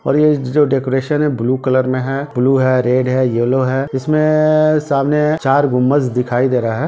और ये जो डेकोरशन है वो ब्लू कलर में है ब्लू है रेड है येलो है इसमें सामने चार गुमबज दिखाई दे रहा है।